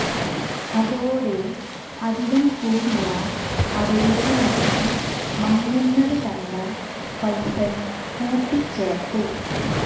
അതോടെ അവിടം കൂടിയ അവരുടെ മുഖം മങ്ങുന്നത് കണ്ട ഫൈസൽ കൂട്ടിച്ചേർത്തു